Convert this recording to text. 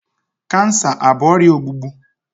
Kansa abụ ọrịa ogbugbu?